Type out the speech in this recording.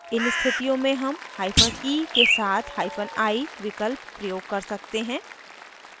इन स्थितियों में हम hyphen e के साथ hyphen i विकल्प प्रयोग कर सकते हैं